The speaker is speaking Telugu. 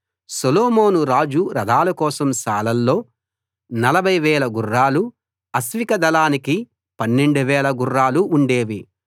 సొలొమోను రాజు రథాల కోసం శాలల్లో 40000 గుర్రాలు అశ్విక దళానికి 12000 గుర్రాలు ఉండేవి